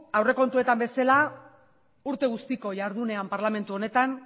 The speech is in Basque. aurrekontuetan bezala urte guztiko jardunean parlamentu honetan